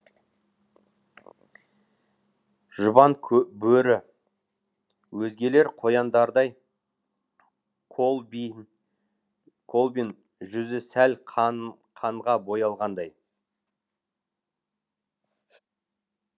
жұбан бөрі өзгелер қояндардай колбин колбин жүзі сәл қанға боялғандай